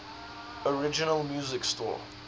original music score